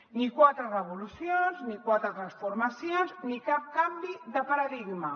ni quatre revolucions ni quatre transformacions ni cap canvi de paradigma